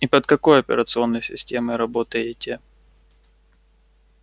и под какой операционной системой работаете